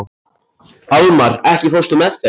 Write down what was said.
Almar, ekki fórstu með þeim?